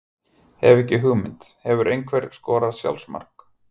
Hef ekki hugmynd Hefurðu skorað sjálfsmark?